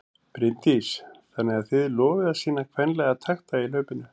Bryndís: Þannig að þið lofið að sýna kvenlega takta í hlaupinu?